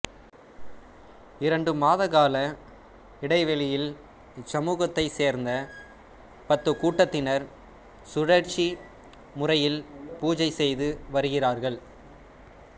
இரண்டு மாத கால இடைவேளையில் இச்சமுகத்தை சேர்ந்த பத்து கூட்டத்தினர் சுழற்சி முறையில் பூஜை செய்து வருகிறார்கள்